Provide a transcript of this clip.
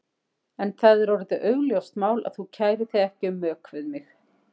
En það er orðið augljóst mál að þú kærir þig ekki um mök við mig!